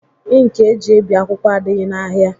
Ịnki eji ebi akwụkwọ adịghị n'ahia